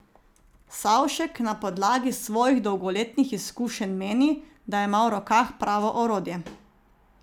Savšek na podlagi svojih dolgoletnih izkušen meni, da ima v rokah pravo orodje.